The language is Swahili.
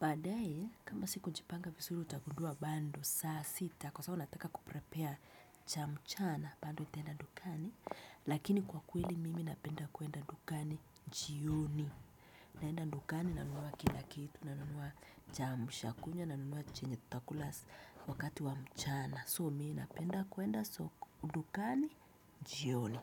Badaaye kama sikujipanga vizuri utagundua bado saa sita kwa sababu nataka kuprepea cha mchana bado nitaenda dukani. Lakini kwa kweli mimi napenda kuenda dukani jioni. Naenda dukani nanunua kila kitu nanunua kiamshakinywa, nanunuwa chenye tutakula wakati wa mchana. So mi napenda kuenda dukani jioni.